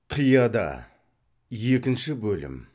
қияда екінші бөлім